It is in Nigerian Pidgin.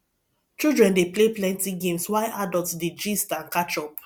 children dey play plenty games while adults dey gist and catch up